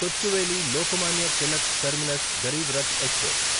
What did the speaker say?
Kochuveli Lokmanya Tilak terminus Garib Rath express